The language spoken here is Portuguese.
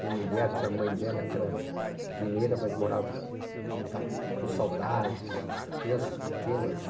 Minha mulher tinha mãe dela que era mineira, mas morava tanto com saudades, crianças pequenas.